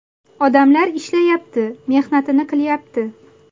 Odamlar ishlayapti, mehnatini qilyapti.